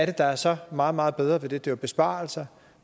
det der var så meget meget bedre ved det det var jo besparelser